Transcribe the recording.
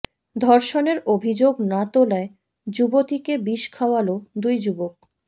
ধর্ষণের অভিযোগ না তোলায় যুবতীকে বিষ খাওয়ালো দুই যুবক